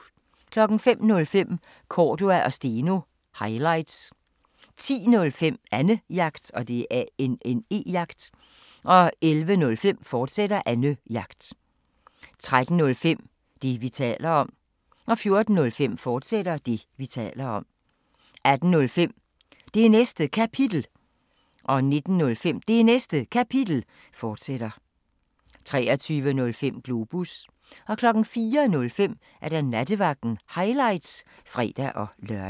05:05: Cordua & Steno – highlights 10:05: Annejagt 11:05: Annejagt, fortsat 13:05: Det, vi taler om 14:05: Det, vi taler om, fortsat 18:05: Det Næste Kapitel 19:05: Det Næste Kapitel, fortsat 23:05: Globus 04:05: Nattevagten – highlights (fre-lør)